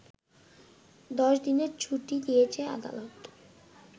১০ দিনের ছুটি দিয়েছে আদালত